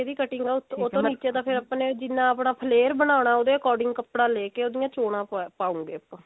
cutting ਹੈ ਉਹ ਤੋਂ ਨਿੱਚੇ ਤੱਕ ਜਿੰਨਾ ਆਪਾਂ ਨੇ flair ਬਨਾਣਾ ਉਹਦੇ according ਕੱਪੜਾ ਲੇਕੇ ਚੋਣਾ ਪਾਓਗੇ ਆਪਾਂ